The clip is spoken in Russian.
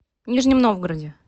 нижнем новгороде